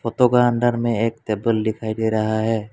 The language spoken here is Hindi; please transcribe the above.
फोटो का अंदर में एक टेबल दिखाई दे रहा है।